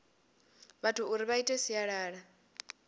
vhathu uri vha ite sialala